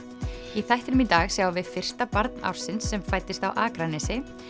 í þættinum í dag sjáum við fyrsta barn ársins sem fæddist á Akranesi